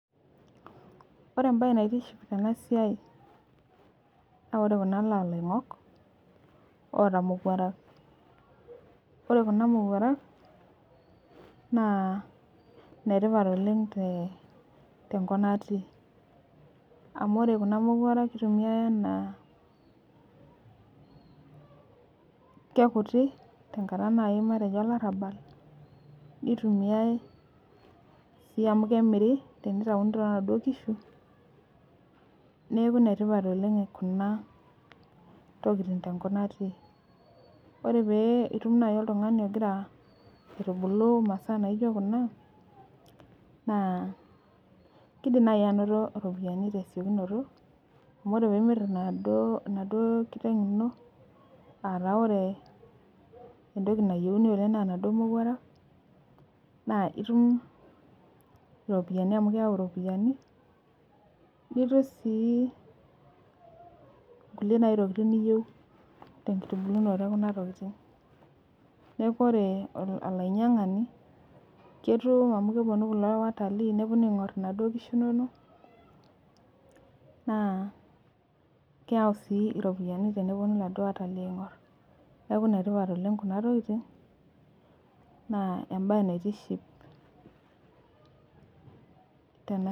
Ore embae naitiship tenasia naore kulo nalongok oota mowuarak na ore kuna mowuarak na netipat oleng tenkop natii amu ore kuna mowuarak kitumiai ana kekiti nai tenkata olarabal nitumiai si amu kemiri tenitauni tonatoi kishu neaku enetipat oleng kunatokitin tenkop natii ore pitum nai oltungani ogira aitubulu masaa nijo kuna na kidim nai ainoto ropiyani tesiokinoto amu ore pimir enakiteng ino tesiokinoto amu ore entoki nayieuni na naduo mowuarak na itumbiropiyani amu keyai iropiyani nitum si nai nkulie tokitin niyeu neaku ore olainyangani ketum amu kepunu kulo watalii aingur inkisbmhu nonok na keyau si iropiyiani teneponu kulo watalii aingur neaku enetipat kuna tokitin na embae naitiship tena.